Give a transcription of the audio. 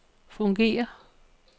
fungerer